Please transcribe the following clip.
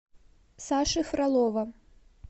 саши фролова